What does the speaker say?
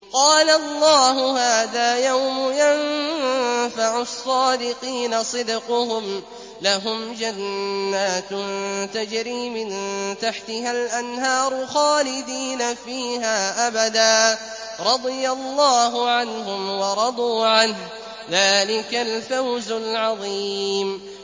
قَالَ اللَّهُ هَٰذَا يَوْمُ يَنفَعُ الصَّادِقِينَ صِدْقُهُمْ ۚ لَهُمْ جَنَّاتٌ تَجْرِي مِن تَحْتِهَا الْأَنْهَارُ خَالِدِينَ فِيهَا أَبَدًا ۚ رَّضِيَ اللَّهُ عَنْهُمْ وَرَضُوا عَنْهُ ۚ ذَٰلِكَ الْفَوْزُ الْعَظِيمُ